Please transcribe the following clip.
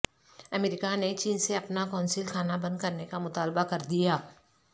امریکہ نے چین سے اپنا قونصل خانہ بند کرنے کا مطالبہ کر دیا